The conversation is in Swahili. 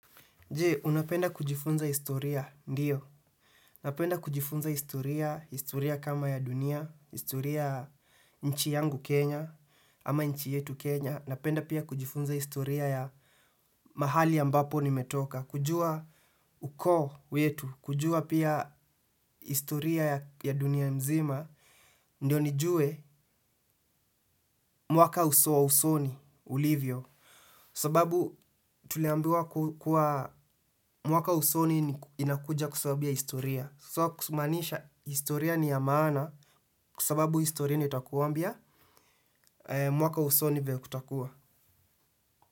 Je, unapenda kujifunza historia? Ndiyo. Unapenda kujifunza historia, historia kama ya dunia, historia nchi yangu Kenya, ama nchi yetu Kenya. Ninapenda pia kujifunza historia ya mahali ambapo nimetoka. Kujua ukoo wetu, kujua pia historia ya dunia mzima, ndio nijue mwaka uso wa usoni, ulivyo. Sababu tuliambiwa kuwa mwaka usoni inakuja kwasababu ya historia. So kusumanisha historia ni yamana kwasababu historia ndio itakuambia mwaka wa usoni vile kutakua.